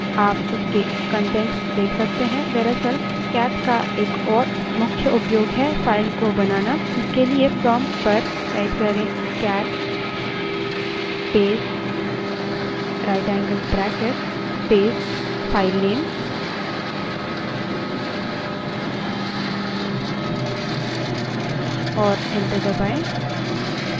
आप उसके कंटेंट्स देख सकते हैं दरअसल cat का एक और मुख्य उपयोग है file को बनाना इसके लिए prompt पर cat space right angle bracket space filename type करें और enter दबायें